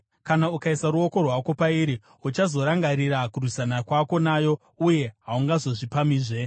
Kana ukaisa ruoko rwako pairi uchazorangarira kurwisana kwako nayo uye haungazozvipamhizve!